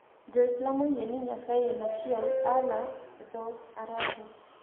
Jo-Islam oyie ni Nyasaye en achiel. Allah e dho-Arabu.